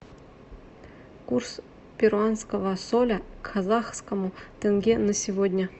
курс перуанского соля к казахскому тенге на сегодня